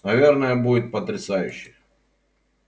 наверное будет потрясающе